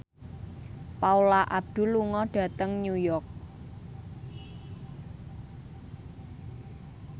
Paula Abdul lunga dhateng New York